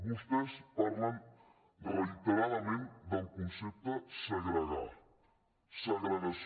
vostès parlen reiteradament del concepte segregar segregació